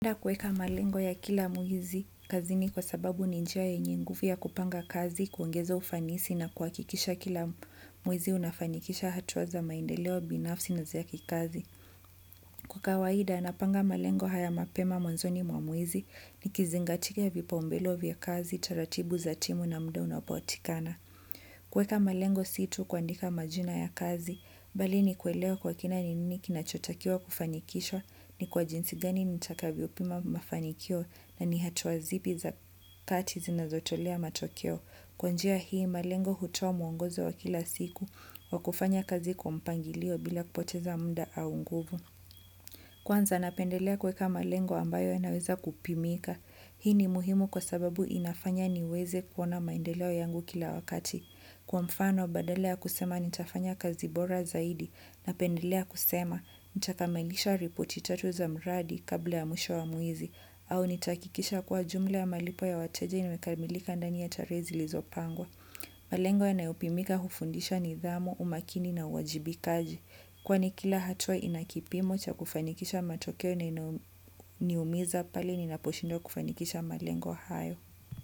Mwenda kueka malengo ya kila muhizi kazi ni kwa sababu ninjia ya nyinguvia kupanga kazi, kuongeza ufanisi na kuakikisha kila mwezi unafanikisha hatuwa za maendeleo binafsi na za kikazi. Kwa kawaida, napanga malengo haya mapema mwanzoni mwamwezi nikizingatia vipaumbelo vya kazi, taratibu za timu na mda unapotikana. Kueka malengo si tu kuandika majina ya kazi bali ni kuelewa kwa kina ni nini kinachotakiwa kufanikishwa ni kwa jinsi gani nitakavyo pima mafanikio na ni hatua zipi za kati zinazotolea matokeo. Kwa njia hii malengo hutoa muongozo wa kila siku wa kufanya kazi kwa mpangilio bila kupoteza muda au nguvu. Kwanza napendelea kueka malengo ambayo yanaweza kupimika. Hii ni muhimu kwa sababu inafanya niweze kuona maendeleo yangu kila wakati. Kwa mfano, badala ya kusema nitafanya kazi bora zaidi napendelea kusema, nita kamilisha ripoti tatu za mradi kabla ya mwisho wa mwezi, au nitakikisha kwa jumla ya malipo ya wateja imekamilika ndani ya taree zilizo pangwa. Malengo yanayopimika hufundisha nidhamu, umakini na uwajibikaji. Kwa ni kila hatuwa inakipimo cha kufanikisha matokeo na iniumiza pali ninaposhindwa kufanikisha malengo hayo.